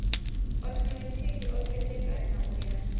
othomethikhi o khethekanywa u ya